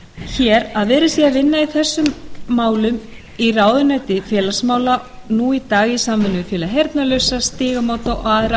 hér að verið sé að vinna í þessum málum í ráðuneyti félagsmála nú í dag í samvinnu við félag heyrnarlausra stígamót og aðra